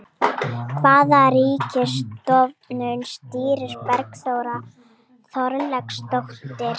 Hvaða ríkisstofnun stýrir Bergþóra Þorkelsdóttir?